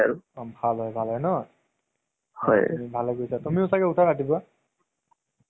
তোমাৰ mainly হল যে movies আহ যিটো যিকোনো তুমি movies চোৱা সেই